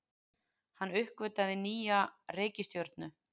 Hann uppgötvaði nýja reikistjörnu!